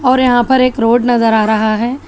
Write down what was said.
और यहां पर एक रोड नजर आ रहा है।